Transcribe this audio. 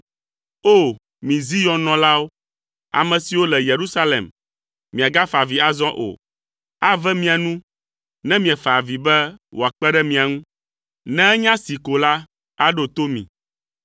O! Mi Zion nɔlawo, ame siwo le Yerusalem, miagafa avi azɔ o. Ave mia nu ne miefa avi be wòakpe ɖe mia ŋu. Ne enya see ko la, aɖo to mi.